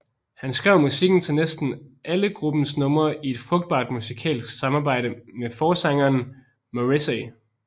Han skrev musikken til næsten alle gruppens numre i et frugtbart musikalsk samarbejde med forsangeren Morrissey